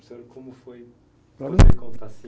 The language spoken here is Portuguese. Como foi